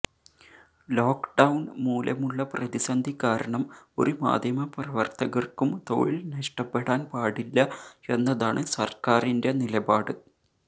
lock down മൂലമുള്ള പ്രതിസന്ധി കാരണം ഒരു മാധ്യമ പ്രവര്ത്തകര്ക്കും തൊഴില് നഷ്ടപ്പെടാന് പാടില്ല എന്നതാണ് സര്ക്കാരിന്റെ നിലപാട്